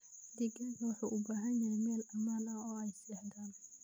Digaagga waxay u baahan yihiin meel ammaan ah oo ay seexdaan.